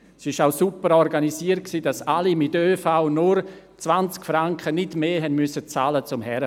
Es war super organisiert, sodass alle mit ÖV anreisen konnten und nur 20 Franken, nicht mehr, für die Reise zahlen mussten.